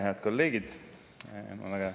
Head kolleegid!